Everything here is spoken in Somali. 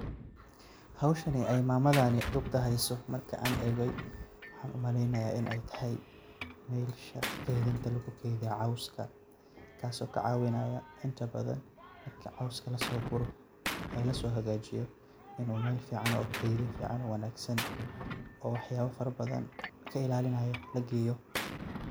Howshan oo mamadan duqda ah ey heyso markan egay waxan umaleynaya iney tahay meesha lugukeydiyo cowska kaso kacawinaya inta badan cowska lasoguro oo lasohagajiyo inu meel fican oo keydin fican oo wanagsan oo waxyabo fara badan kailalinayo lageyo.